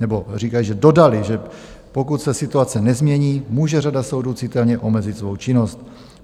nebo říkají, že dodali, že pokud se situace nezmění, může řada soudů citelně omezit svou činnost.